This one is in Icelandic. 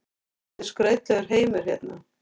Þetta er skrautlegur heimur hérna.